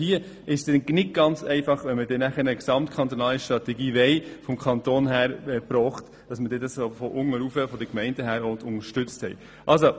Es ist also nicht ganz einfach, wenn man eine gesamtkantonale Strategie vom Kanton erbracht haben will, die dann von unten herauf, von den Gemeinden, auch unterstützt werden soll.